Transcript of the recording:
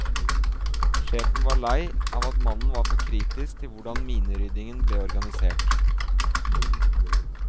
Sjefen var lei av at mannen var for kritisk til hvordan mineryddingen ble organisert.